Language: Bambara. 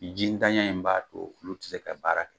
Ji ndanya in b'a to olu tɛ se ka baara kɛ.